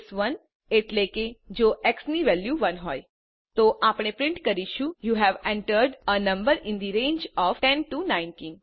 case 1 એટલે કે જો એક્સ ની વેલ્યુ 1 હોય તો આપણે પ્રિન્ટ કરીશું યુ હવે entered a number in the range of 10 19